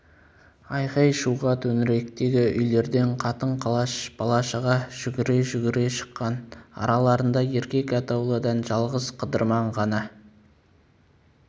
айқай-шуға төңіректегі үйлерден қатын-қалаш бала-шаға жүгіре-жүгіре шыққан араларында еркек атаулыдан жалғыз қыдырман ғана